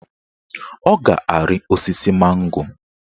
Ọ ga-ari osisi mango